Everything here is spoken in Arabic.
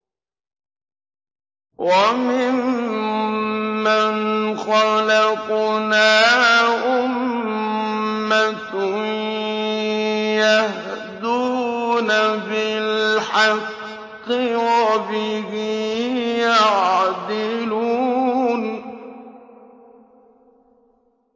وَمِمَّنْ خَلَقْنَا أُمَّةٌ يَهْدُونَ بِالْحَقِّ وَبِهِ يَعْدِلُونَ